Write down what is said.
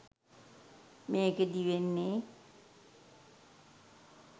මේකෙදී වෙන්නේ